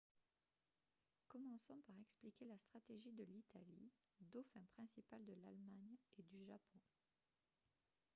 commençons par expliquer la stratégie de l'italie « dauphin » principal de l'allemagne et du japon